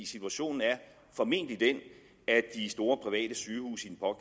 situationen er formentlig den at de store private sygehuse